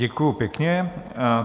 Děkuji pěkně.